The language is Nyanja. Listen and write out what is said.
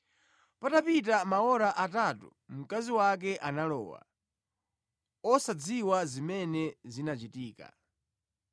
Patapita maora atatu mkazi wake analowa, wosadziwa zimene zinachitika.